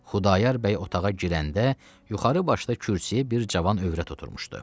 Xudayar bəy otağa girəndə yuxarı başda kürsüdə bir cavan övrət oturmuşdu.